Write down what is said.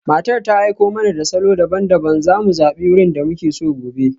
Matar ta aiko mana da salo daban-daban, za mu zabi wurin da muke so gobe.